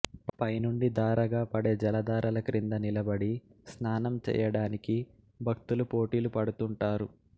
పైనుండి ధారగా పడే జలధారల క్రింద నిలబడి స్నానం చేయడానికి భక్తులు పోటీలు పడుతుంటారు